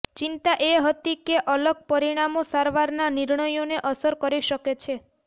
ચિંતા એ હતી કે અલગ પરિણામો સારવારના નિર્ણયોને અસર કરી શકે છે